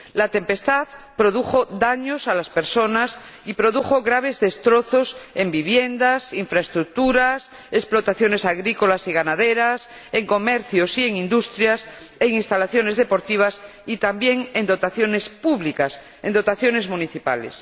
La tempestad produjo daños a las personas y produjo graves destrozos en viviendas, infraestructuras, explotaciones agrícolas y ganaderas, en comercios y en industrias, en instalaciones deportivas y también en dotaciones públicas, en dotaciones municipales.